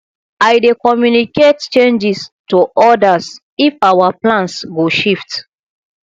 i dey communicate changes to others if our plans go shift